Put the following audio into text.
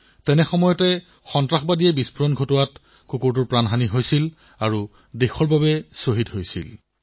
IED উলিয়াই থকাৰ সময়ত সন্ত্ৰাসবাদীসকলে বিস্ফোৰণৰ সৃষ্টি কৰিছিল আৰু ভাৱনা শ্বহীদ হৈছিল